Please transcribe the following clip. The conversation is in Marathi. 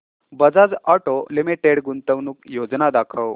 बजाज ऑटो लिमिटेड गुंतवणूक योजना दाखव